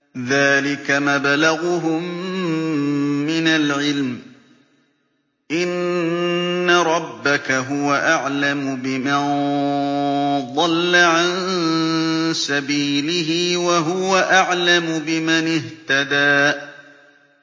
ذَٰلِكَ مَبْلَغُهُم مِّنَ الْعِلْمِ ۚ إِنَّ رَبَّكَ هُوَ أَعْلَمُ بِمَن ضَلَّ عَن سَبِيلِهِ وَهُوَ أَعْلَمُ بِمَنِ اهْتَدَىٰ